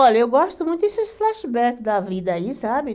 Olha, eu gosto muito desses flashbacks da vida aí, sabe?